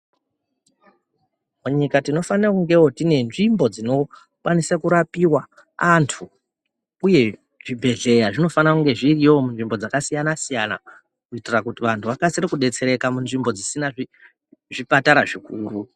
Panyika tinofanire kungewo tine nzvimbo dzinokwanise kurapiwa antu uye zvibhedhlera zvinofanire kunge zviriyowo munzvimbo dzakasiyana siyana kuitire kuti vantu vakasire kudetsereka munzvimbo dzisina zvipatara zvikuru.